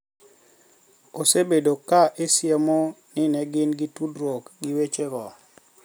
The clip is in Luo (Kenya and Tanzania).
Osebedo ka isiemo ni ne gin gi tudruok gi wechego